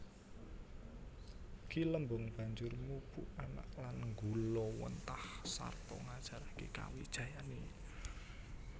Ki Lembong banjur mupu anak lan nggulawentah sarta ngajaraké kawijayané